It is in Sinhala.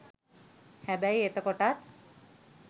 හැබැයි එතකොටත්